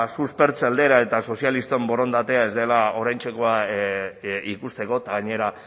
suspertze aldera eta sozialisten borondatea ez dela oraintxekoa ikusteko eta gainera